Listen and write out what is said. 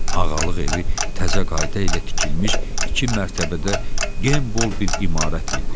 Ağalıq evi təzə qayda ilə tikilmiş iki mərtəbədə genbol bir imarət idi.